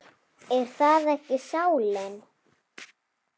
Er það ekki sálin?